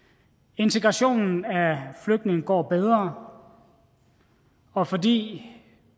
integrationen af flygtninge går bedre og fordi